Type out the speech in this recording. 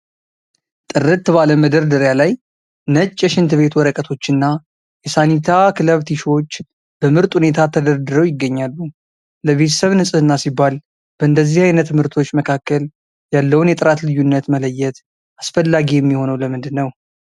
ጥርት ባለ መደርደሪያ ላይ ነጭ የሽንት ቤት ወረቀቶችና የሳኒታ ክለብ ቲሹዎች በምርጥ ሁኔታ ተደርድረው ይገኛሉ። ለቤተሰብ ንፅህና ሲባል በእንደዚህ ዓይነት ምርቶች መካከል ያለውን የጥራት ልዩነት መለየት አስፈላጊ የሚሆነው ለምንድን ነው?